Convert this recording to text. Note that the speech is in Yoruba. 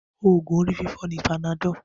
Oògùn orí fífọ́ ni panadol